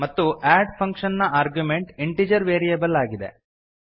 ಮತ್ತು add function ನ argument integer variable ಆಗಿದೆ